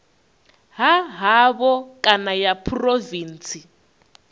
ha havho kana ya phurovintsi